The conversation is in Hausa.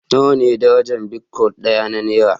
Nawa ne darajar bitcoin ɗaya a naira?